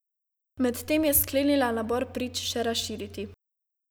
Medtem je sklenila nabor prič še razširiti.